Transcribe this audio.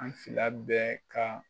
An fila bɛɛ ka